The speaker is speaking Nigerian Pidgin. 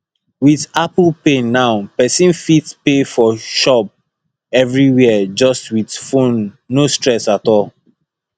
with apple pay now person fit pay for shop everywhere just with phone no stress at all